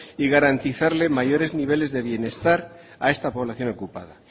y garantizarles mayores niveles de bienestar a esta población ocupada